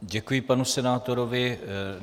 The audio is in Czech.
Děkuji panu senátorovi.